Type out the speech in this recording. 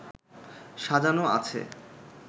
সাজানো আছে